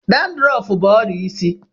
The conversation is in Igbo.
Dandurọf bụbụ ọrịa isi.